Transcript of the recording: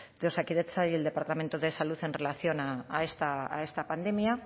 de osakidetza y el departamento de salud en relación a esta pandemia